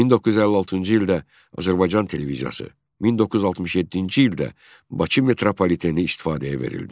1956-cı ildə Azərbaycan televiziyası, 1967-ci ildə Bakı metropoliteni istifadəyə verildi.